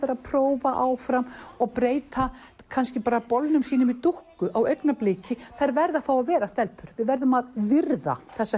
prófa áfram og breyta kannski bolnum sínum í dúkku á augnabliki þær verða að fá að vera stelpur við verðum að virða þessa